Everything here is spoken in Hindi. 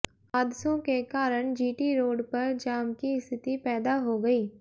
हादसों के कारण जीटी रोड पर जाम की स्थिति पैदा हो गई